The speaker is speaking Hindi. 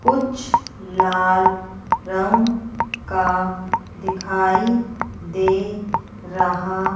कुछ लाल रंग का दिखाई दे रहा --